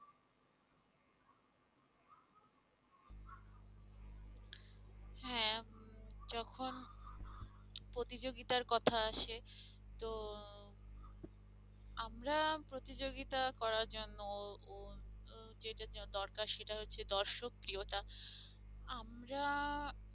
প্রতিযোগিতার কথা আসে তো আমরা প্রতিযোগিতা করার জন্য যেটা দরকার সেটা হচ্ছে দর্শক প্রিয়তা আমরা